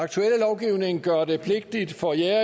den gør det pligtigt for jægere